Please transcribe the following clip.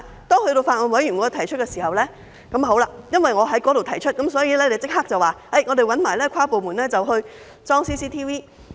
當我在法案委員會提出時，因為我在那裏提出，所以局方立即回應，會一併找跨部門安裝 CCTV。